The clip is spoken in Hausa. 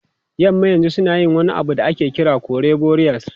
Yamma yanzu suna yin wani abu da ake kira kore burials.